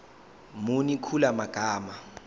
muni kula magama